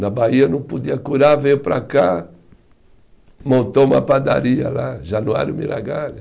Na Bahia não podia curar, veio para cá, montou uma padaria lá, Januário Miragalha.